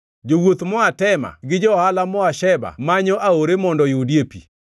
Jowuoth moa Tema gi johala moa Sheba manyo aore mondo oyudie pi.